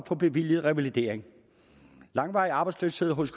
få bevilget revalidering langvarig arbejdsløshed hos